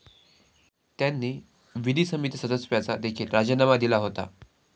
त्यांनी विधी समिती सदस्यत्वाचा देखील राजीनामा दिला होता.